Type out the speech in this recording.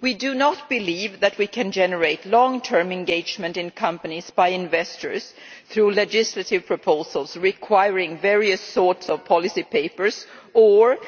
We do not believe that we can generate long term engagement in companies by investors through legislative proposals requiring various sorts of policy papers or